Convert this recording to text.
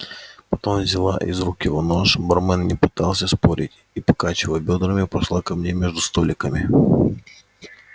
потом взяла из его рук нож бармен не пытался спорить и покачивая бёдрами пошла ко мне между столиками